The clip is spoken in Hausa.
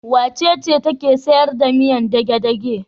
Wacece take sayar da miyar dage-dage?